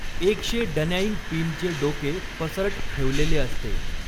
एक शे डनॅईंग पिनचे डोके पसरट ठेवलेले असते.